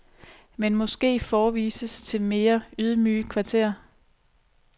Men måske forvises til mere ydmyge kvarterer.